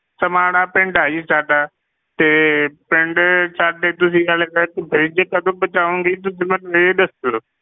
ਸਮਾਣਾ ਪਿੰਡ ਆ ਜੀ ਸਾਡਾ, ਤੇ ਪਿੰਡ ਸਾਡੇ ਤੁਸੀਂ ਸੀ fridge ਕਦੋਂ ਪਹੁੰਚਾਵੋਂਗੇ, ਤੁਸੀਂ ਮੈਨੂੰ ਇਹ ਦੱਸੋ।